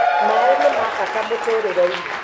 Maĩ ni ma bata mũtũũrĩre-inĩ